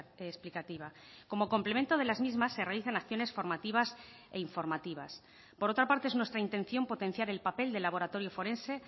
explicativa como complemento de las mismas se realizan acciones formativas e informativas por otra parte es nuestra intención potenciar el papel del laboratorio forense